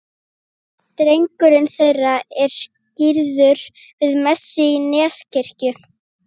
Drengurinn þeirra er skírður við messu í Neskirkju.